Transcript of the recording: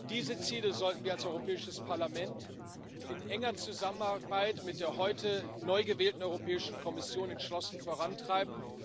Diese Ziele sollten wir als Europäisches Parlament in enger Zusammenarbeit mit der heute neu gewählten Europäischen Kommission entschlossen vorantreiben.